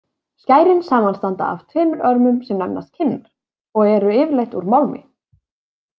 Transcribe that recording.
Skærin samanstanda af tveimur örmum, sem nefnast kinnar, og eru yfirleitt úr málmi.